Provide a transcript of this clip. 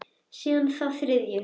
Síðan þá þriðju.